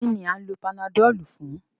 Kí ni à ń lo panadọ́ọ̀lù fun?